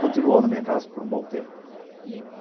Continuou na minha casa por um bom tempo.